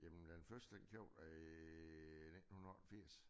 Jamen den første købte jeg i 1980